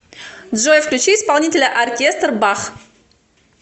джой включи исполнителя оркестр б а х х